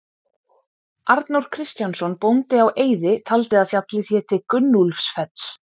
Arnór Kristjánsson bóndi á Eiði taldi að fjallið héti Gunnúlfsfell.